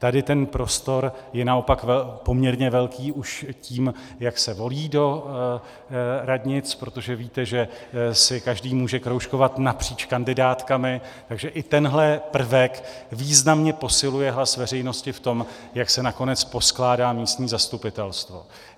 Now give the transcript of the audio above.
Tady ten prostor je naopak poměrně velký už tím, jak se volí do radnic, protože víte, že si každý může kroužkovat napříč kandidátkami, takže i tenhle prvek významně posiluje hlas veřejnosti v tom, jak se nakonec poskládá místní zastupitelstvo.